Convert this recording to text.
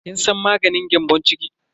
Kin san maganin gyambon ciki?